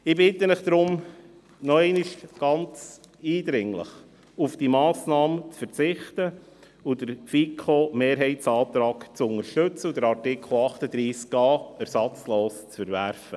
Ich bitte Sie deshalb noch einmal eindringlich, auf diese Massnahme zu verzichten und den Antrag der FiKo-Mehrheit zu unterstützen und den Artikel 38a ersatzlos zu verwerfen.